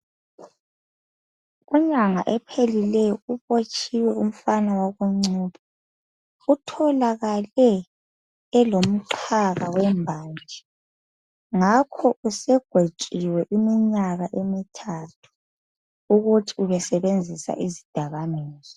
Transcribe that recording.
Inyanga ephelileyo ubotshiwe umfana wakoNcube itholakale elomxhaka wembanje ngakho usegwetshiwe iminyaka emithathu ukuthi ubesebenzisa izidakamizwa.